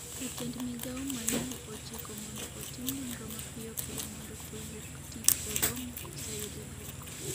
jatend migao Mailu ochiko mondo otim nonro mapiyo piyo mondo to wuok tich orom koseyudo duoko